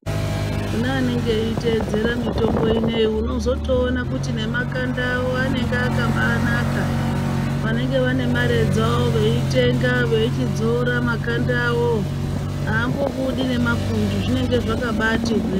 Kune vanege veiteedzera mitombo ineyi unotozoona kuti nemakanda awo anenge akambanaka, vanenge vane mare dzavo veitenga veichidzora makanda avowo aambobudi nemapundu , zvinenge zvakabaati hweee.